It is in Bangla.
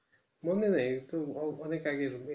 মনে নেই অনেকে আগে,